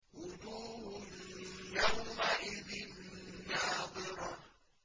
وُجُوهٌ يَوْمَئِذٍ نَّاضِرَةٌ